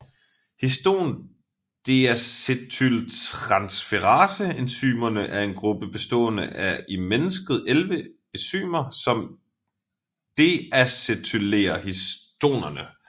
Histon deacetyltransferase enzymerne er en gruppe bestående af i mennesket 11 enzymer som deacetylerer histonerne